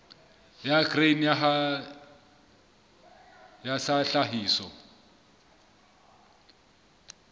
ya grain sa ya tlhahiso